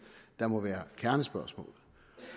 der må være kernespørgsmålet